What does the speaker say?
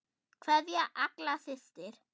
Kveðja, Agla systir.